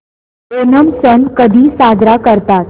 ओणम सण कधी साजरा करतात